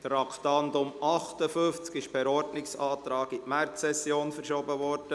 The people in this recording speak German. Das Traktandum 58 ist per Ordnungsantrag auf die Märzsession verschoben worden.